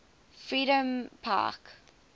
freedompark